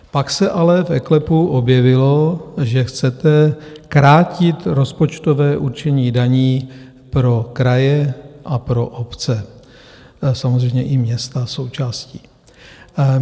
Pak se ale v eKLEPu objevilo, že chcete krátit rozpočtové určení daní pro kraje a pro obce, samozřejmě i města - součástí.